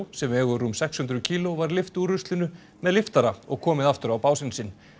sem vegur rúm sex hundruð kíló var lyft úr ruslinu með lyftara og komið aftur á básinn sinn